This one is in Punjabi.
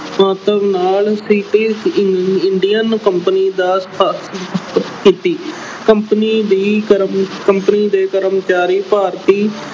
ਮੰਤਵ ਨਾਲ British Indian Company ਦੀ ਸਥਾਪਨਾ ਅਹ ਕੀਤੀ ਕੰਪਨੀ ਦੀ ਕਰਮ ਅਹ ਕੰਪਨੀ ਦੇ ਕਰਮਚਾਰੀ ਭਾਰਤੀ